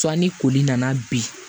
Sanni koli nana bi